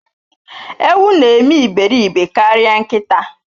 Ewu na eme iberibe karịa nkịta.